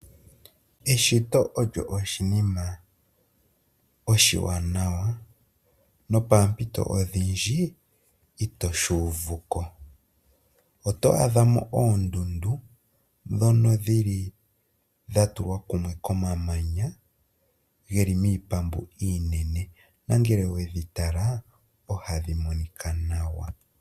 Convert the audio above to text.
Eshito olyo oshinima oshiwanawa nopoompito odhindji itoshi uvuko. Oto adha mo oondundu ndhono dhili dha tulwa kumwe komamanya, geli miipambu iinene, nongele owedhi tala ohadhi monika nawa.